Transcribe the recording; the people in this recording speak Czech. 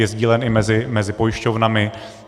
Je sdílen i mezi pojišťovnami.